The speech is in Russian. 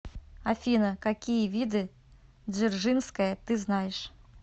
афина какие виды дзержинская ты знаешь